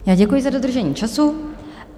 Já děkuji za dodržení času.